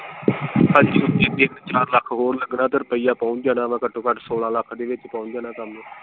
ਇੱਕ ਚਾਰ ਲੱਖ ਹੋਰ ਲੱਗਣਾ ਤੇ ਰੁਪਈਆ ਪਹੁੰਚ ਜਾਣਾ ਵਾ ਘਟੋ ਘੱਟ ਸੋਲਾਂ ਲੱਖ ਦੇ ਵਿਚ ਪਹੁੰਚ ਜਾਣਾ ਕੰਮ।